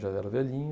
Já era velhinho.